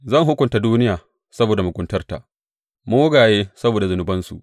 Zan hukunta duniya saboda muguntarta, mugaye saboda zunubansu.